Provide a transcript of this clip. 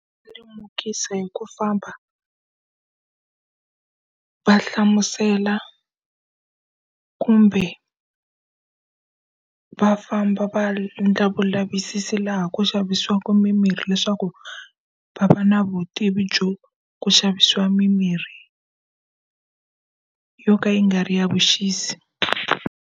Lemukisa hi ku famba va hlamusela kumbe va famba va endla lavisisi laha ku xavisiwaku mimirhi leswaku, va va na vutivi byo ku xavisiwa mimirhi yo ka yi nga ri ya vuxisi.